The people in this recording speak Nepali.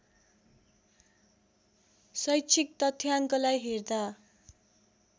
शैक्षिक तथ्याङ्कलाई हेर्दा